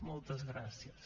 moltes gràcies